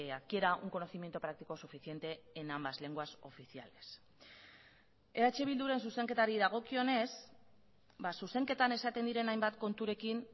adquiera un conocimiento práctico suficiente en ambas lenguas oficiales eh bilduren zuzenketari dagokionez zuzenketan esaten diren hainbat konturekin